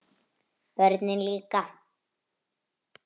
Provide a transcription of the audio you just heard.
Börnin líka.